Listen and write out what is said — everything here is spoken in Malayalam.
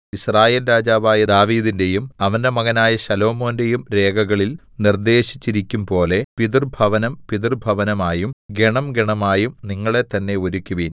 യിസ്രായേൽ രാജാവായ ദാവീദിന്റെയും അവന്റെ മകനായ ശലോമോന്റെയും രേഖകളിൽ നിർദേശിച്ചിരിക്കും പോലെ പിതൃഭവനം പിതൃഭവനമായും ഗണം ഗണമായും നിങ്ങളെത്തന്നെ ഒരുക്കുവിൻ